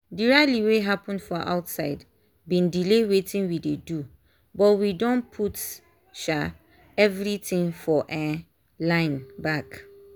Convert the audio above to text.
the rally wey happen for outside been delay weitin we dey do but we don put um everything for um line back